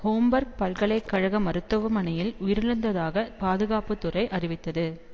Homburg பல்கலை கழக மருத்துவமனையில் உயிரிழந்ததாகப் பாதுகாப்பு துறை அறிவித்தது